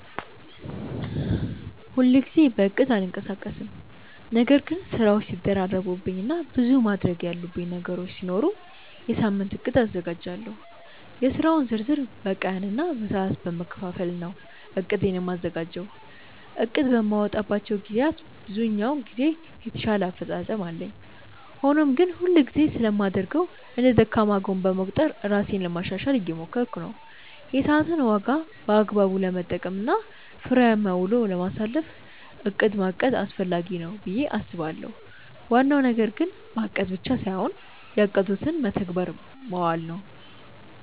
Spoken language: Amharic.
ሁል ጊዜ በእቅድ አልንቀሳቀስም ነገር ግን ስራዎች ሲደራረቡብኝ እና ብዙ ማድረግ ያሉብኝ ነገሮች ሲኖሩ የሳምንት እቅድ አዘጋጃለሁ። የስራውን ዝርዝር በቀን እና በሰዓት በመከፋፈል ነው እቅዴን የማዘጋጀው። እቅድ በማወጣባቸው ግዜያት ብዛኛውን ጊዜ የተሻለ አፈፃፀም አለኝ። ሆኖም ግን ሁል ጊዜ ስለማላደርገው እንደ ደካማ ጎን በመቁጠር ራሴን ለማሻሻሻል እየሞከርኩ ነው። የሰዓትን ዋጋ በአግባቡ ለመጠቀም እና ፍሬያማ ውሎ ለማሳለፍ እቅድ ማቀድ አስፈላጊ ነው ብዬ አስባለሁ። ዋናው ነገር እቅድ ማቀድ ብቻ ሳይሆን ያቀዱትን በተግባር ማዋል ነው።